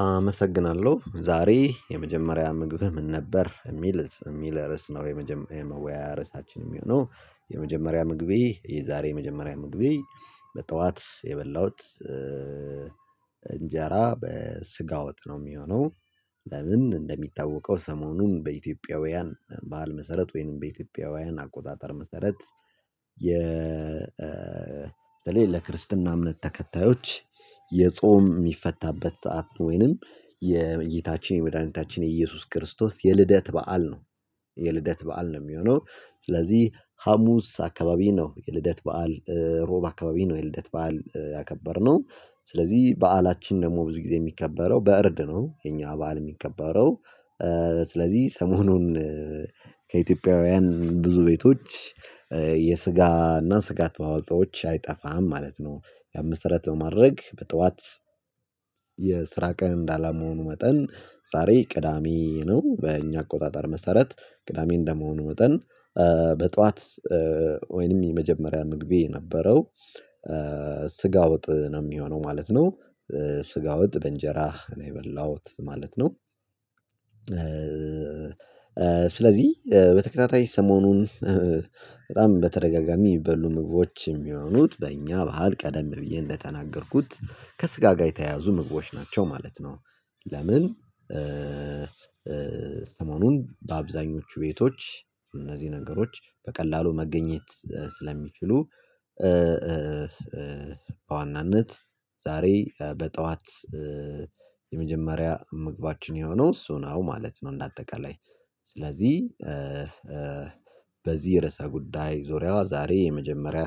አመሰግናለሁ ዛሬ የመጀመሪያ ምግብህ ምን ነበር የሚልስ ርዕስ ነው የመወያያ ርዕሳችን የሚሆነው? የመጀመሪያ ምግቤ የዛሬ የመጀመሪያ ምግቤ በጠዋት የበላሁት እንጀራ በስጋ ወጥ ነው የሚሆነው። ለምን እንደሚታወቀው ሰሞኑን በኢትዮጵያውያን ባህል መሰረት ወይንም በኢትዮጵያውያን አቆጣጠር መሰረት። የ በለይ ለክርስትና እምነት ተከታዮች የጾም የሚፈታበት ሰዓት ወይንም የጌታችን የመድኃኒታችን የኢየሱስ ክርስቶስ የልደት በዓል ነው። የልደት በዓል ነው የሚሆነው። ስለዚህ ሀሙስ አካባቢ ነው የልደት በዓል ሮብ አካባቢ ነው የልደት በዓል ያከበርነው። ስለዚህ በዓላችን ደግሞ ብዙ ጊዜ የሚከበረው በእርድ ነው። የኛ በዓል የሚከበረው ስለዚህ ሰሞኑን ከኢትዮጵያውያን ብዙ ቤቶች የስጋና ስጋ ተዋጾኦች አይጠፋም ማለት ነው። ያን መሰረተት በማድረግ በጠዋት ቀን እንዳላመሆኑ መጠን ዛሬ ቅዳሜ ነው። በእኛ አቆጣጠር መሰረት ቅዳሜ እንደመሆኑ ወጠን በጧት ወይንም የመጀመሪያ ምግቤ የነበረው ስጋ ወጥ ነው የሚሆነው ማለት ነው። ስጋ ወጥ በእንጀራ ነው የበላሁት ማለት ነው። ስለዚህ በተከታታይ ሰሞኑን በጣም በተደጋጋሚ የሚበሉ ምግቦች የሚሆኑት በእኛ ባህል ቀደም ብዬ እንደተናገርኩት ከስጋ ጋር የተያያዙ ምግቦች ናቸው ማለት ነው። ለምን? ሰሞኑን በአብዛኞቹ ቤቶች እነዚህ ነገሮች በቀላሉ መገኘት ስለሚችሉ በዋናነት ዛሬ በጠዋት የመጀመሪያ ምግባችን የሆነው እሱ ነው ማለት ነው። እንደ አጠቃላይ ስለዚህ በዚህ ርዕሰ ጉዳይ ዙሪያዋ ዛሬ የመጀመሪያ